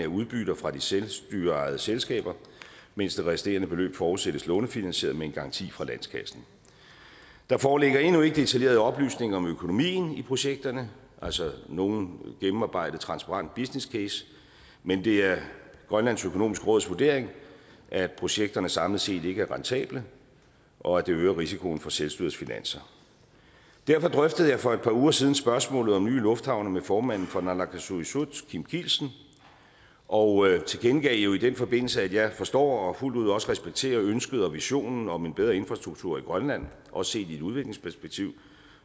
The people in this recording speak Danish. udbytter fra de selvstyreejede selskaber mens det resterende beløb forudsættes lånefinansieret med en garanti fra landskassen der foreligger endnu ikke detaljerede oplysninger om økonomien i projekterne altså nogen gennemarbejdet transparent businesscase men det er grønlands økonomiske råds vurdering at projekterne samlet set ikke er rentable og at det øger risikoen for selvstyrets finanser derfor drøftede jeg for et par uger siden spørgsmålet om nye lufthavne med formanden for naalakkersuisut kim kielsen og jeg tilkendegav i den forbindelse at jeg forstår og fuldt ud respekterer ønsket og visionen om en bedre infrastruktur i grønland også set i et udviklingsperspektiv